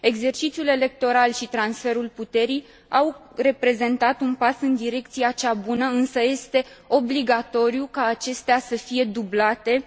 Exercițiul electoral și transferul puterii au reprezentat un pas în direcția cea bună, însă este obligatoriu ca acestea să fie dublate